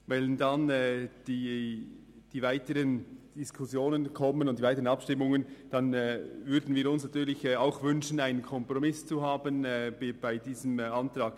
Wenn die weiteren Vorstösse zum Tragen kämen, würden wir uns natürlich wünschen, einen Kompromiss zu finden.